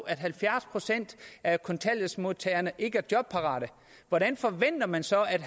at halvfjerds procent af kontanthjælpsmodtagerne ikke er jobparate hvordan forventer man så at